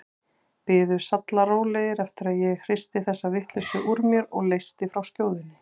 Biðu sallarólegir eftir að ég hristi þessa vitleysu úr mér og leysti frá skjóðunni.